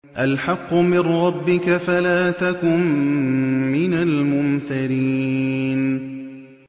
الْحَقُّ مِن رَّبِّكَ فَلَا تَكُن مِّنَ الْمُمْتَرِينَ